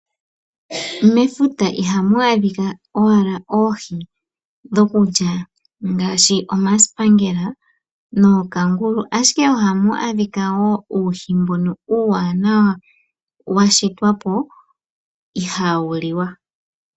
Mefuta ihamwaadhika owala oohi dhokulya ngaashi omaaspaangela nookangulu , ashike ohamu adhikwa woo uuhi mbono uuwanawa washitwapo ihaawuliwa .